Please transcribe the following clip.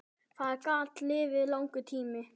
Það gat liðið langur tími.